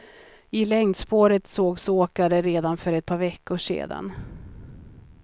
I längdspåret sågs åkare redan för ett par veckor sedan.